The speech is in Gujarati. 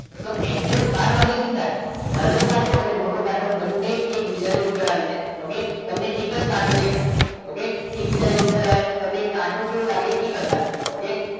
તો exact બાર વાગે શું થાય નાનો કાંટો અને મોટો કાંટો એકબીજાની ઉપર આવી જાય okay તમે એકવાર કાંટો દેખાય ઓકે એકબીજાની ઉપર આવે તમને કાંટો કેવો લાગે એક જ લાગે okay